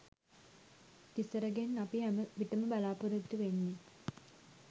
තිසරගෙන් අපි හැම විටම බලාපොරොත්තු වෙන්නෙ